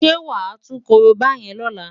Ṣé wàá tú korobá yẹn lọ́la?